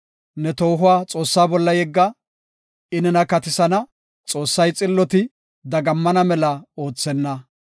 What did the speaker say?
Ne toohuwa Xoossa bolla yegga; I nena katisana. Xoossay xilloti, dagammana mela oothenna.